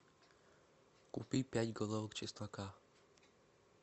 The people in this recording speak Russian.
купить пять головок чеснока